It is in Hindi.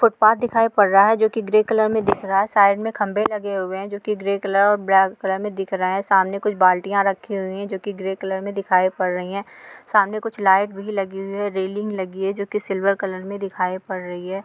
फुट पाथ दिखाई पड़ रहा हैं जो की ग्रे कलर में दिख रहा हैं साइड में खंभे लगे हुए हैं जो की ग्रे कलर और ब्लैक कलर में दिख रहा हैं सामने कुछ बाल्टियाँ रखी हुई हैं जो की ग्रे कलर में दिखाई पड रहीं हैं सामने कुछ लाइटिंग भी लगी हुई हैं रेलिंग लगी हैंजो की सिल्वर कलर में दिखाई पड़ रही हैं।